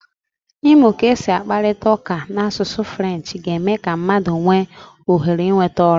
Ịmụ ka esi akparịta ụka n'asụsụ Frenchị ga-eme ka mmadụ nwee ohere ịnweta ọrụ.